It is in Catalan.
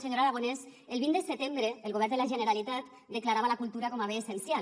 senyor aragonès el vint de setembre el govern de la generalitat declarava la cultura com a bé essencial